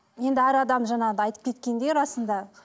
енді әр адам жаңағыдай айтып кеткендей расында